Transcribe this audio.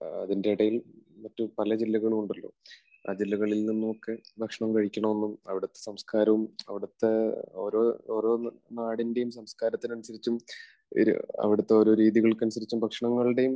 അതിൻറെ ഇടയിൽ മറ്റു പല ജില്ലകളും ഉണ്ടല്ലോ. ആ ജില്ലകളിൽ നിന്നും ഒക്കെ ഭക്ഷണം കഴിക്കണമെന്നും അവിടുത്തെ സംസ്കാരവും അവിടുത്തെ ഓരോ നാടിന്റെയും സംസ്കാരത്തിന് അനുസരിച്ചും അവിടുത്തെ ഓരോ രീതികൾക്ക് അനുസരിച്ചും ഭക്ഷണങ്ങളുടെയും